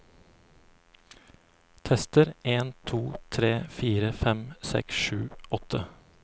Tester en to tre fire fem seks sju åtte